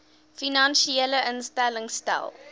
finansiële instellings stel